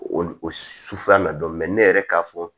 O o su sufan bɛ dɔn ne yɛrɛ k'a fɔ